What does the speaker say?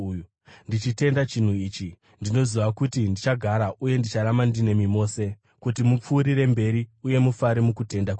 Ndichitenda chinhu ichi, ndinoziva kuti ndichagara, uye ndicharamba ndinemi mose kuti mupfuurire mberi uye mufare mukutenda kwenyu,